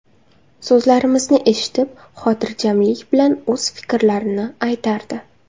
So‘zlarimizni eshitib, xotirjamlik bilan o‘z fikrlarini aytardi.